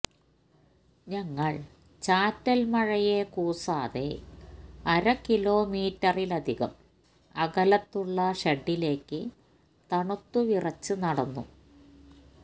ഞങ്ങൾ ചാറ്റൽ മഴയെ കൂസാതെ അരകിലോമീറ്ററിലധികം അകലത്തുള്ള ഷെഡിലേക്ക് തണുത്തുവിറച്ച് നടന്നു